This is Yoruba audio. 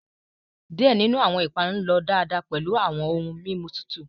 Diẹ ninu awọn ipanu lọ daadaa pẹlu awọn ohun mimu tutu